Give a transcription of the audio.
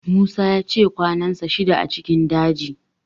Musa ya ce kwanansa shida a cikin daji